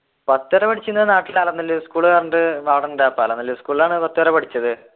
പത്തു എവിടെ പഠിച്ചീനെ നാട്ടിലെ സ്കൂൾ ഉണ്ട് സ്കൂളിലാണ് പത്തു വരെ പഠിച്ചത്